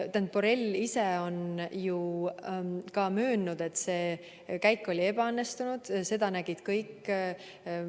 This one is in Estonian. Ma ütlen, et Borrell ise on ju ka möönnud, et see käik oli ebaõnnestunud, seda nägid kõik.